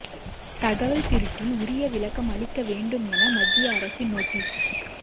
தகவல் திருட்டில் உரிய விளக்கம் அளிக்க வேண்டும் என மத்திய அரசு நோட்டீஸ்